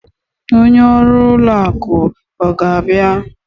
Onye ọrụ ụlọ akụ ọ ga-abịa?